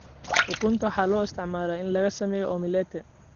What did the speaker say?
Ukunta waxaa loo isticmaalaa in lagu sameeyo omelette.